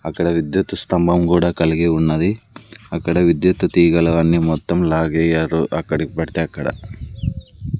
అక్కడ విద్యుత్ స్తంభం కూడా కలిగి ఉన్నది అక్కడ విద్యుత్తు తీగలు అన్ని మొత్తం లాగేయరు అక్కడికి పడితే అక్కడ